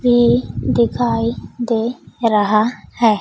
ये दिखाई दे रहा है।